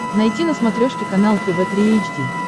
найти на смотрешке канал тв три эйч ди